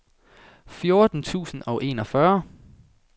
fjorten tusind og enogfyrre